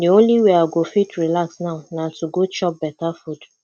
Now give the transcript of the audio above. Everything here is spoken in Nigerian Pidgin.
the only way i go fit relax now na to go chop beta food